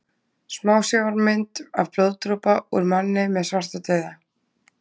Smásjármynd af blóðdropa úr manni með svartadauða.